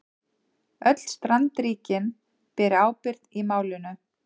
Öll strandríkin beri ábyrgð í málinu